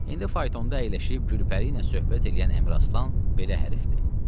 İndi faytonta əyləşib Gülpəri ilə söhbət eləyən Əmiraslan belə hərifdir.